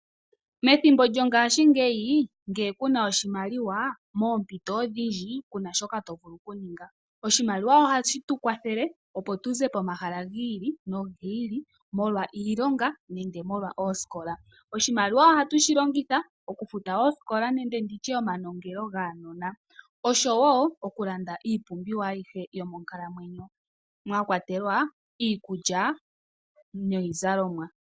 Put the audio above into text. Methimbo lyongashingeyi nge kuna oshimaliwa moompito odhindji kuna shoka to vulu okuninga. Oshimaliwa ohashi tu kwathele opo tuze pomahala giili nogiili molwa iilonga nenge molwa oosikola. Oshimaliwa ohatu shi longitha okufuta oyosikola nenge nditye omanongelo gaanona, oshowo okulanda iipumbiwa ayihe yomonkalamwenyo mwa kwatelwa iikulya niizalomwa.